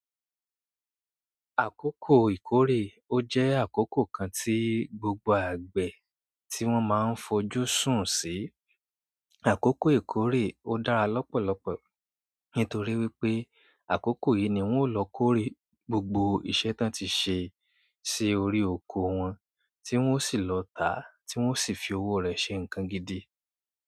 Àkókò ìkórè ó jẹ́ àkókò kan tí gbogbo àgbẹ̀ tí wọ́n máa ń fojú sùn sí. Àkókò ìkórè ó dára lọ́pọ̀lọpọ̀ nítorí wípé àkókò yìí ni wón ó lọ kórè gbogbo iṣẹ́ tán tí ṣe sí orí oko wọn, tí wón ó sì lọ tà á, tí wón ó sì fi owó rẹ̀ ṣe nǹkan gidi.